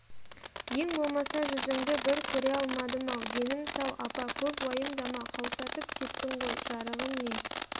ең болмаса жүзіңді бір көре алмадым-ау денім сау апа көп уайымдама қаусатып кеттің ғой жарығым не